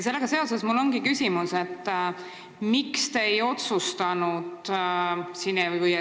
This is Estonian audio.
Sellega seoses mul ongi küsimus, miks te ei otsustanud tõsta piiri 16 eluaastani.